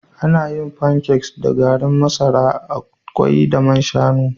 Ana yin pancakes da garin masara, kwai da man shanu